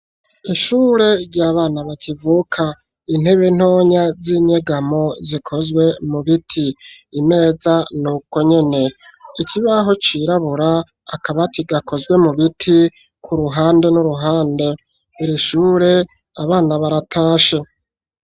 ishure rya bana bakivuka intebe ntonya z'inyegamo zikozwe mu biti ineza nuko nyene ikibaho cirabura akaba kigakozwe mu biti ku ruhande n'uruhande irishure abana baratashe